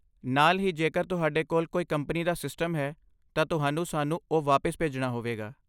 ਨਾਲ ਹੀ ਜੇਕਰ ਤੁਹਾਡੇ ਕੋਲ ਕੋਈ ਕੰਪਨੀ ਦਾ ਸਿਸਟਮ ਹੈ ਤਾਂ ਤੁਹਾਨੂੰ ਸਾਨੂੰ ਉਹ ਵਾਪਿਸ ਭੇਜਣਾ ਹੋਵੇਗਾ।